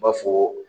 N b'a fɔ